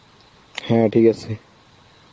হ্যাঁ ঠিক আছে